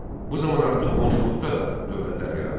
Bu zaman artıq qonşuluqda da dövlətlər yaranmışdı.